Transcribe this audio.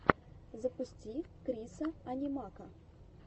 запусти крисса анимака